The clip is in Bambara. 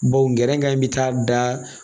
Baw gɛrɛn bi taa da